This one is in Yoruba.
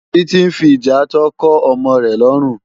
Titi n fi ijàátò kò òmò rè lòrún